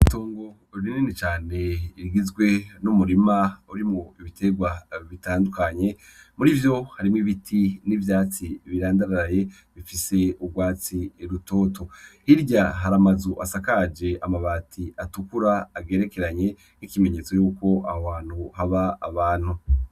Itongo rineni cane rigizwe n'umurima uri mu ibiterwa bitandukanye muri ivyo harimwo ibiti n'ivyatsi birandararaye bifise ubwatsi rutoto hirya haramazu asakaje amabati atukura agerekeranye k'ikimenyetso yuko awo hantu haba abantu.